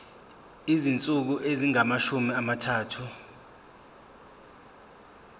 izinsuku ezingamashumi amathathu